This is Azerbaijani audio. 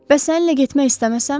Bəs səninlə getmək istəməsəm?